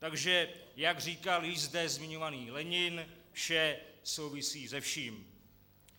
Takže jak říkal již zde zmiňovaný Lenin, vše souvisí se vším.